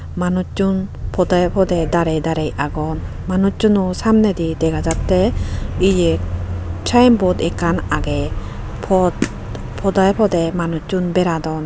Manucchun podey podey darey agon manucchuno samnedi dega jatte eya signboard ekkan agey pod podey podey manucchun beradon.